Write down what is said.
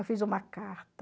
Eu fiz uma carta...